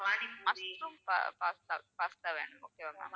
mushroom pasta வேணும் okay வா ma'am